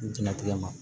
Jɛnatigɛ